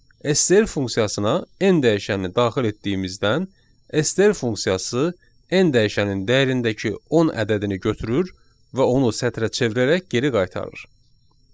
STR funksiyasına n dəyişənin daxil etdiyimizdən STR funksiyası n dəyişənin dəyərindəki 10 ədədini götürür və onu sətrə çevirərək geri qaytarır.